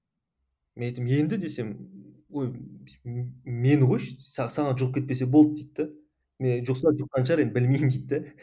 мен айтамын енді десем ой мені қойшы саған жұғып кетпесе болды дейді де мен жұқса жұққан шығар енді білмеймін дейді де